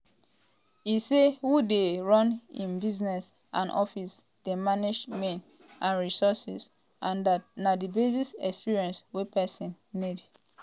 e say who dey run im business and office dey manage men and resources um and dat na di basic experience wey pesin need. um